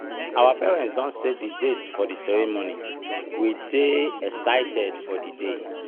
our parents don set the date for the ceremony um we dey excited for di day.